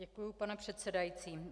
Děkuju, pane předsedající.